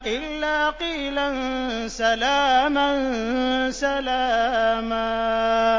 إِلَّا قِيلًا سَلَامًا سَلَامًا